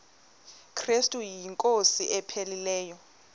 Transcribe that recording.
krestu inkosi ephilileyo